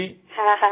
হয় হয়